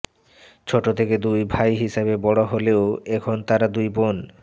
ছোট থেকে দুই ভাই হিসেবে বড় হলেও এখন তারা দুই বোন